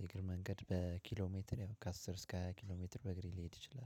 የእግር መንገድ በኪሎ ሜትር ያው ከአስር እስከ ሃያ ኪሎ ሜትር በእግሬ ልሄድ እችላለሁ